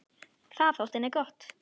Það þótti henni gott.